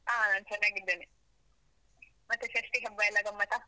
ಹಾ, ಚೆನ್ನಾಗಿದ್ದೇನೆ, ಮತ್ತೆ ಷಷ್ಠಿ ಹಬ್ಬ ಎಲ್ಲ ಗಮ್ಮತಾ?